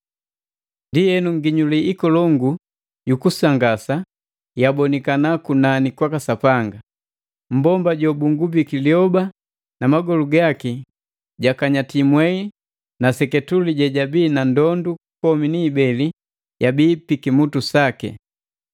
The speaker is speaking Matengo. Ndienu nginyuli ikolongu jukusangasa yabonikana kunani kwaka Sapanga. Mmbomba jo bunhgubiki lyoba na magolu gaki gakanyati mwei na seketule jejabi na ndondu komi ni ibeli yabi pikimutu saki!